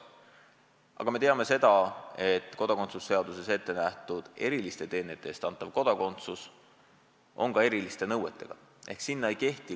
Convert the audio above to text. Aga me teame, et kodakondsuse seaduses ette nähtud eriliste teenete eest antavale kodakondsusele kehtivad erinõuded.